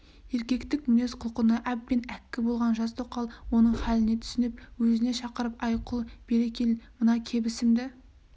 еркектің мінез-құлқына әбден әккі болған жас тоқал оның хәліне түсініп өзіне шақырып әй құл бері кел мына кебісімді